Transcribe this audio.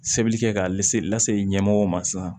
Sɛbɛnni kɛ k'a lase lase i ɲɛmɔgɔw ma sisan